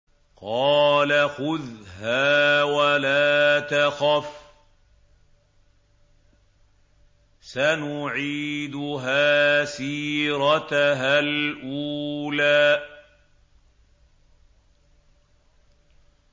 قَالَ خُذْهَا وَلَا تَخَفْ ۖ سَنُعِيدُهَا سِيرَتَهَا الْأُولَىٰ